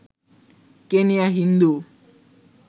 Kenya Hindu